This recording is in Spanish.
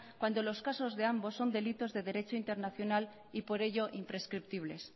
cuando los casos de ambos son delitos derecho internacional y por ello imprescriptibles